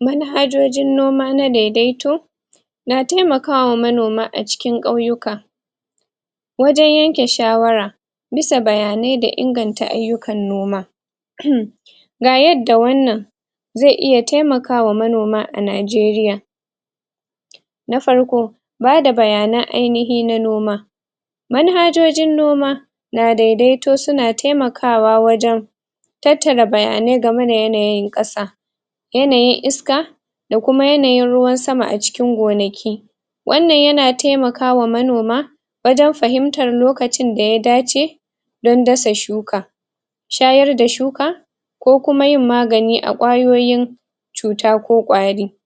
Manhajoji noma na daidaito na taimaka wa manoma a cikin ƙauyuka wajen yanke shawara bisa bayane da inganta ayukan noma ga yadda wannan zai iya taimaka wa manoma a Najeriya na farko bada bayanai ainihi na noma manhajojin noma na dadaito su na taimakawa wajen tattara bayanai game da yanayin kasa yanayin iska da kuma yanayin ruwan sama a cikin gonaki wannan ya na taimakawa manoma wajen fahimtar lokacin da ya dace dan dasa shuka shayar da shuka ko kuma yin magani a kwayoyin cuta ko kwari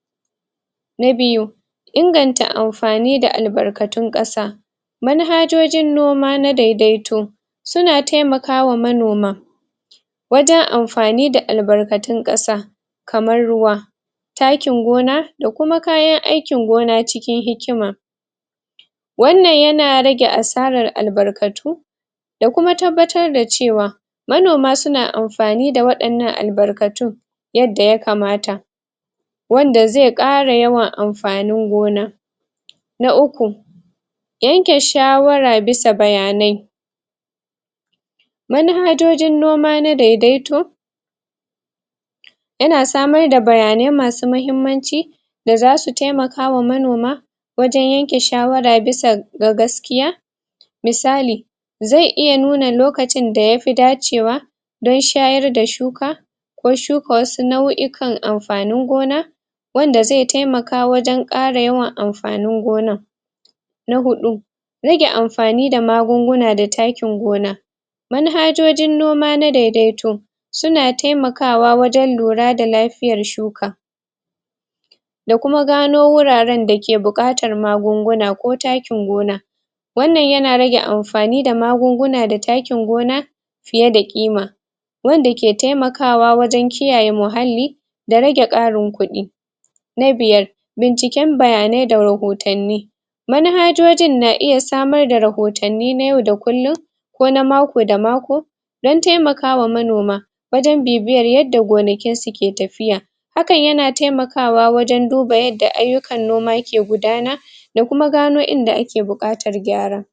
na biyu inganta amfani da albarkatun kasa manhajojin noma na daidaito su na taimakawa manoma wajen amfani da albarkatun kasa kamar ruwa takkin gona da kuma kayan aikin gona cikin hikima. Wannan ya na rage asarar albarkatu da kuma tabbatar da cewa manoma su na amfani da wadannan albarkatun yadda ya kamata wanda zai kara yawan amfanin gona na uku yanke shawara bisa bayanai manhajojin nma na daidaito ya na samar da bayanai masu mahimmanci da za su taimakawa manoma wajen yanke shawara bisa ga gaskiya misali zai iya nuna lokacin da ya fi dacewa dan shayar da shuka ko shuka wasu nauyuka amfanin gona wanda zai taimaka wajen kara yawan amfanin gonan. Na hudu rage amfani da magunguna da takkin gona manhajojin noma na daidaito su na taimakawa wajen lura da lafiyar shuka da kuma gano wuraren dake bukatar magunguna ko takkin gona wannan ya na rage amfani da magunguna da takkin gona fiye da kima wanda ke taimakawa wajen kiyaye muhalli da rage karin kudi na biyar, binciken bayane da rahotani manhajojin na iya samar da rahotani na yau da kullum ko na mako da mako dan taimaka wa manoma wajen bibiyar yadda gonakin su ke tafiya hakan ya na taimakawa wajen duba yadda ayukan noma ke gudana da kuma gana inda ake bukatar gyara.